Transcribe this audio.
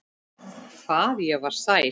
Hvað ég var sæl.